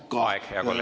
Aeg, hea kolleeg!